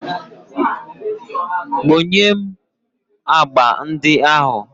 Kponye m agba ndị ahụ.